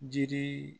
Jiri